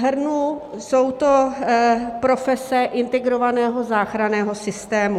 Shrnu, jsou to profese Integrovaného záchranného systému.